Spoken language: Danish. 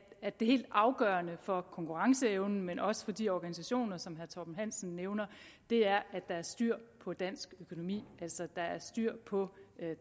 at det helt afgørende for konkurrenceevnen men også for de organisationer som herre torben hansen nævner er at der er styr på dansk økonomi altså at der er styr på